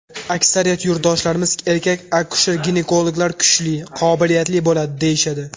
Aksariyat yurtdoshlarimiz erkak akusher-ginekologlar kuchli, qobiliyatli bo‘ladi, deyishadi.